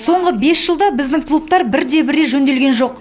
соңғы бес жылда біздің клубтар бір де бір рет жөнделген жоқ